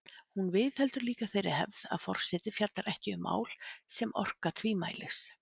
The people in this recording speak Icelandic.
Hún viðheldur líka þeirri hefð að forseti fjallar ekki um mál sem orka tvímælis.